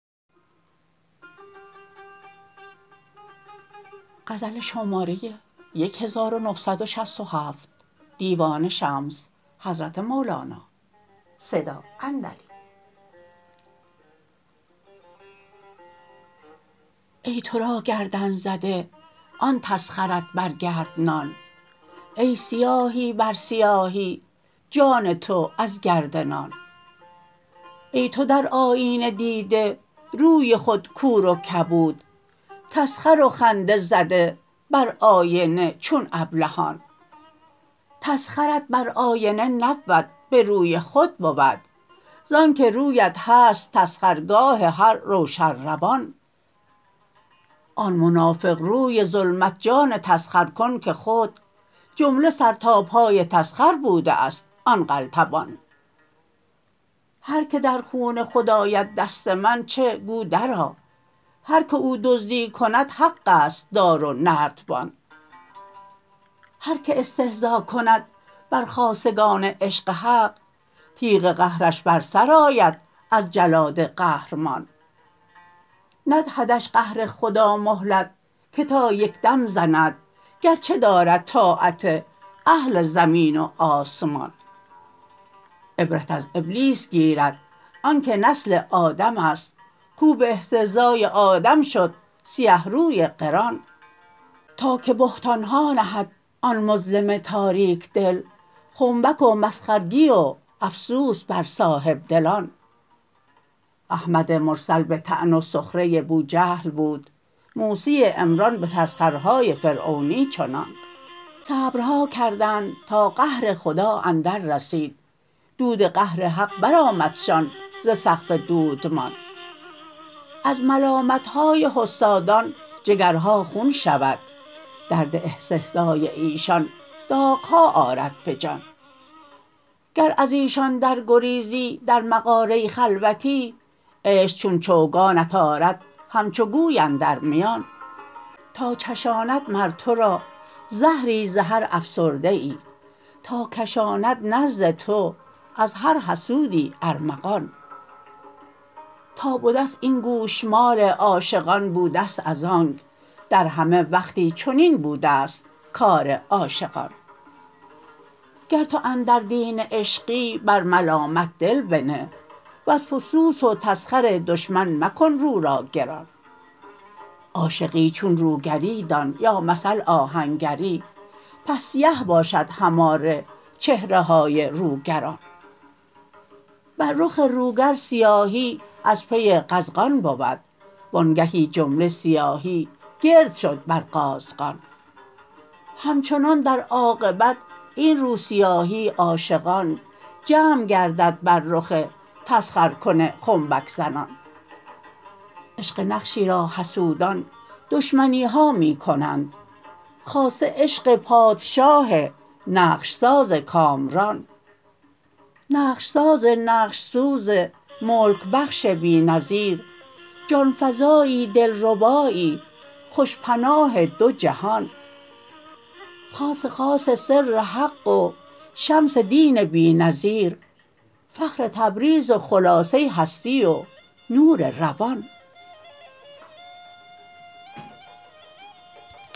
ای تو را گردن زده آن تسخرت بر گرد نان ای سیاهی بر سیاهی جان تو از گرد نان ای تو در آیینه دیده روی خود کور و کبود تسخر و خنده زده بر آینه چون ابلهان تسخرت بر آینه نبود به روی خود بود زانک رویت هست تسخرگاه هر روشن روان آن منافق روی ظلمت جان تسخرکن که خود جمله سر تا پای تسخر بوده ست آن قلتبان هر کی در خون خود آید دست من چه گو درآ هر کی او دزدی کند حق است دار و نردبان هر کی استهزا کند بر خاصگان عشق حق تیغ قهرش بر سر آید از جلاد قهرمان ندهدش قهر خدا مهلت که تا یک دم زند گرچه دارد طاعت اهل زمین و آسمان عبرت از ابلیس گیرد آنک نسل آدم است کو به استهزای آدم شد سیه روی قران تا که بهتان ها نهد آن مظلم تاریک دل خنبک و مسخرگی و افسوس بر صاحب دلان احمد مرسل به طعن و سخره بوجهل بود موسی عمران به تسخرهای فرعونی چنان صبرها کردند تا قهر خدا اندررسید دود قهر حق برآمدشان ز سقف دودمان از ملامت های حسادان جگرها خون شود درد استهزای ایشان داغ ها آرد به جان گر از ایشان درگریزی در مغاره خلوتی عشق چون چوگانت آرد همچو گوی اندر میان تا چشاند مر تو را زهری ز هر افسرده ای تا کشاند نزد تو از هر حسودی ارمغان تا بده است این گوشمال عاشقان بوده ست از آنک در همه وقتی چنین بوده ست کار عاشقان گر تو اندر دین عشقی بر ملامت دل بنه وز فسوس و تسخر دشمن مکن رو را گران عاشقی چون روگری دان یا مثل آهنگری پس سیه باشد هماره چهره های روگران بر رخ روگر سیاهی از پی قزغان بود و آنگهی جمله سیاهی گرد شد بر قازغان همچنان در عاقبت این روسیاهی عاشقان جمع گردد بر رخ تسخرکن خنبک زنان عشق نقشی را حسودان دشمنی ها می کنند خاصه عشق پادشاه نقش ساز کامران نقش ساز نقش سوز ملک بخش بی نظیر جان فزایی دلربایی خوش پناه دو جهان خاص خاص سر حق و شمس دین بی نظیر فخر تبریز و خلاصه هستی و نور روان